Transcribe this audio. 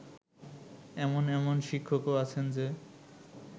এমন এমন শিক্ষকও আছেন যে